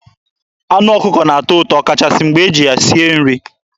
Anụ ọkụkọ na-atọ ụtọ ọkachasị mgbe e ji ya sie nri.